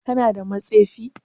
Kana da matsefi?